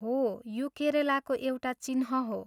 हो, यो केरलाको एउटा चिह्न हो।